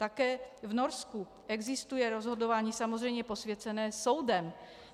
Také v Norsku existuje rozhodování samozřejmě posvěcené soudem.